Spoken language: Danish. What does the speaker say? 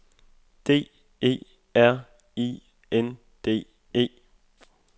D E R I N D E